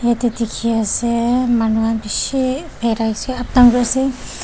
tey dekhe ase manu khan beshe pharai se uptown kure ase.